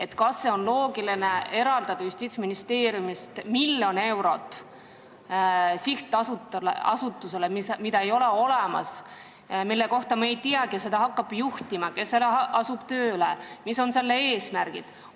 Ja kas on loogiline eraldada Justiitsministeeriumi eelarvest miljon eurot sihtasutusele, mida ei ole olemas, mille kohta me ei tea, kes seda hakkab juhtima, kes seal hakkab tööle, mis on selle eesmärgid?